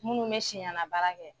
Munnu bɛ siɲɛnbaara kɛ.